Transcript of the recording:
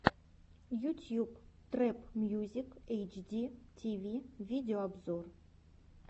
ютьюб трэп мьюзик эйч ди ти ви видеообзор